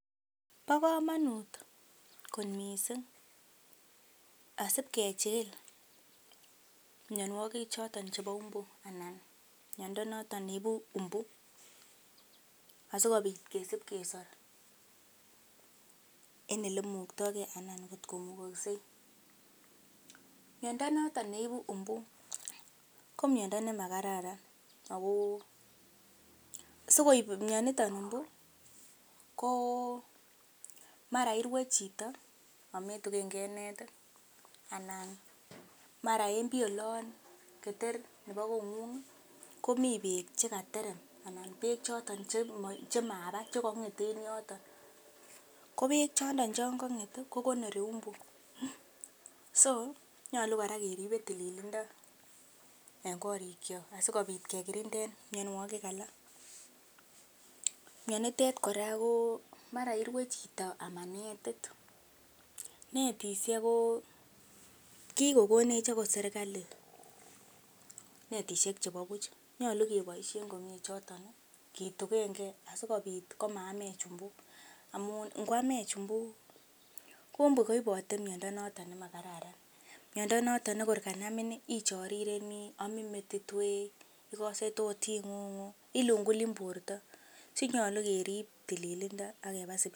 Bo komonut kot mising asibkechigil mianwogik choto chebo umbu, anan miando noton neibu umbu asikobit kesib kesor en ele imuktage anan kotko mugakse. Miando noton neibu mbu ko miondo nemakararan ago sikoib mianito mbu ko mara irwe chito ametugenke netit anan mara en pii olon keter nebo kong'ung komi bek che katerem anan beek choto chemaba che kong'et en yoto. Kobek choto che kong'et kogonori umbu, so nyolu kora keribe tililindo en korikyok asikobit kekinden mianwogik alak. Mianitet kora ko mara irwe chito ama netit. Netishek ko kigokonech agot serkalit netishhek chebo buch. Nyolu keboishen komye choto ketugenge asikobit komaamech mbu amun ingwamech mbu, ko mbu koibote miondo noton nemakararan. Miando noton ne korkanamin ichorireni, amin metit wee, ogose tot ing'ung, ilungulin borto. So nyolu kerib tililindo ak keba sipitali.